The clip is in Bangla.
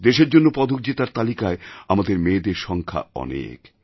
দেশের জন্য পদক জেতার তালিকায় আমাদের মেয়েদের সংখ্যা অনেক